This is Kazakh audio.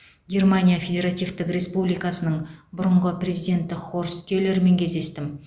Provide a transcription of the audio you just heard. германия федеративтік республикасының бұрынғы президенті хорст келермен кездестім